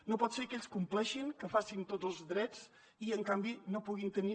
no pot ser que ells compleixin que facin tots els drets i en canvi no puguin tenir